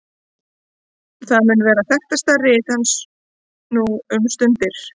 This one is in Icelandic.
það mun vera þekktasta rit hans nú um stundir